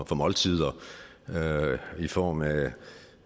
for måltider i form af